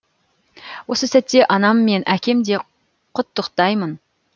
осы сәтте анам мен әкем де құттықтаймын